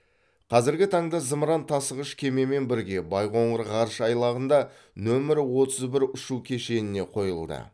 қазіргі таңда зымыран тасығыш кемемен бірге байқоңыр ғарыш айлағында нөмірі отыз бір ұшу кешеніне қойылды